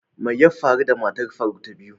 mai yabfaru da matar faruk ta biyu?